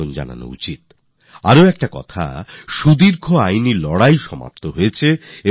একদিকে যেখানে দীর্ঘ সময়ের আইনী লড়াই সমাপ্ত হয়েছে সেখানেই দ্বিতীয় দিকে আদালতের প্রতি দেশের সম্মান আরও বেড়েছে